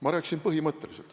Ma rääkisin põhimõtteliselt.